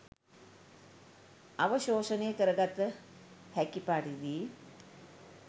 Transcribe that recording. අවශෝෂණය කරගත හැකි පරිදි